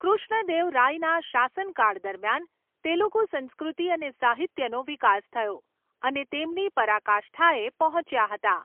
કૃષ્ણદેવરાયના શાસનકાળ દરમિયાન, તેલુગુ સંસ્કૃતિ અને સાહિત્યનો વિકાસ થયો અને તેમની પરાકાષ્ઠાએ પહોંચ્યા હતા.